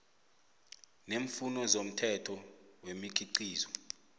neemfuno zomthetho wemikhiqizo